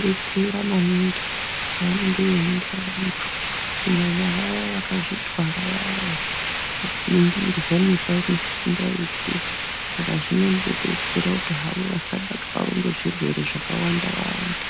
detsera maningi pavanenge veyi ningira vantu kunyanya vaya vakazvi twara vaya vaya vanoningirwa isingaiti saka zvinongo detsera hawo asabatwawo ne zvirwere zvaka wanda wanda.